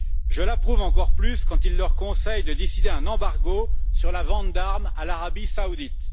Je l'approuve encore plus quand il leur conseille de décider un embargo sur la vente d'armes à l'Arabie saoudite.